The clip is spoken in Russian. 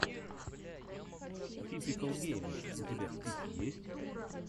типикал геймер у тебя в списке есть